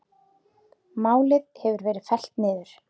Málið hefur verið fellt niður.